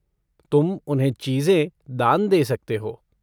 तुम उन्हें चीज़ें दान दे सकते हो।